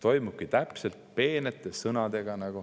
See käibki peente sõnadega.